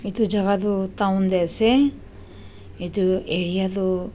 etu jaga tu town de ase etu area tu--